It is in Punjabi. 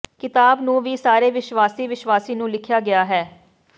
ਕਿਤਾਬ ਨੂੰ ਵੀ ਸਾਰੇ ਵਿਸ਼ਵਾਸੀ ਵਿਸ਼ਵਾਸੀ ਨੂੰ ਲਿਖਿਆ ਗਿਆ ਹੈ